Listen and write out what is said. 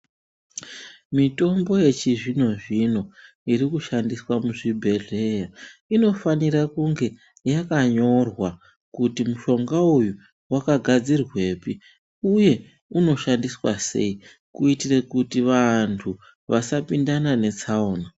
Mitombo yechizvino-zvino, iri kushandiswa muzvibhedhleya, inofanira kunge yakanyorwa kuti muhlonga uyu wakagadzirwepi ,uye unoshandiswa sei ,kuitire kuti vantu, vasapindana netsaona.